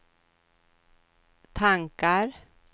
tankar